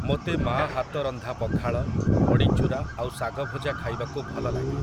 ମୋତେ ମା' ହାତ ରନ୍ଧା ପଖାଳ, ବଡ଼ିଚୁରା ଆଉ ଶାଗଭଜା ଖାଇବାକୁ ଭଲଲାଗେ ।